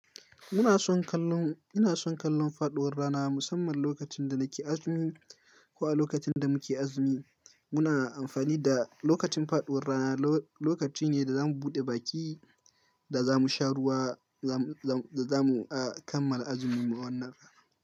Muna son kallon, ina son kallon faɗuwar rana musamman lokacin da nake azumi ko a lokacin da muke azumi. Muna amfani da lokacin faɗuwar rana, lokaci ne da za mu buɗe baki da za mu sha ruwa da za mu kammala azumin mu wannan rana.